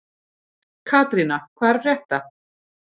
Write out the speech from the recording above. Katrína, hvað er að frétta?